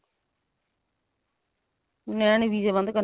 ਇਹਨਾਂ ਨੇ ਵੀਜ਼ੇ ਬੰਦ